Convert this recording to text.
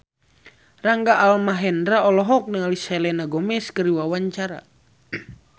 Rangga Almahendra olohok ningali Selena Gomez keur diwawancara